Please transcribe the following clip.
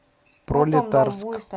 пролетарск